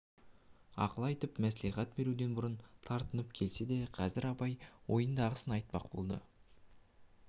ақыл айтып мәслихат беруден бұрын тартынып келсе де қазір абай ойындағысын айтпақ болды